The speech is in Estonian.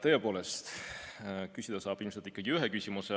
Tõepoolest, küsida saab ilmselt ikkagi ühe küsimuse.